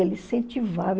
Ele incentivava.